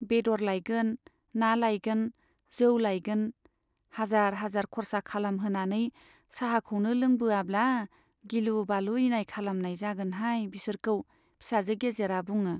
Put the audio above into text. बेद'र लायगोन , ना लायगोन , जौ लायगोन हाजार हाजार खरसा खालाम होनानै चाहाखौनो लोंबोआब्ला गिलु बालु इनाय खालामनाय जागोनहाय बिसोरखौ फिसाजो गेजेरा बुङो।